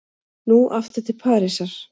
Nú aftur til Parísar.